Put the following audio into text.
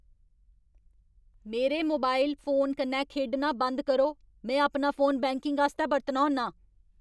मेरे mobile phone कन्नै खेढना बंद करो। में अपना फोन बैंकिंग आस्तै बरतना होन्नां।